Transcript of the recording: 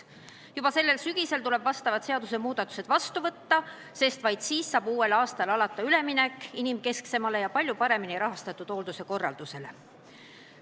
Juba sellel sügisel tuleb sellekohased seadusmuudatused vastu võtta, sest vaid siis saab uuel aastal alata üleminek inimkesksele ja palju paremini rahastatud hoolduse korraldusele.